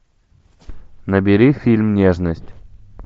набери фильм нежность